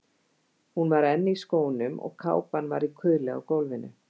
Hún var enn í skónum og kápan var í kuðli á gólfinu.